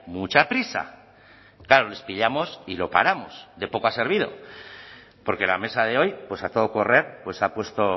mucha prisa claro les pillamos y lo paramos de poco ha servido porque la mesa de hoy pues a todo correr pues ha puesto